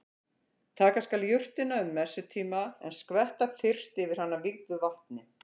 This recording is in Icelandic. Taka skal jurtina um messutíma en skvetta fyrst yfir hana vígðu vatni.